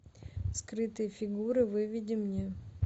скрытые фигуры выведи мне